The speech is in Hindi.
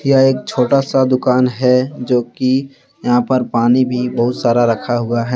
यह एक छोटा सा दुकान है जो कि यहां पर पानी भी बहुत सारा रखा हुआ है।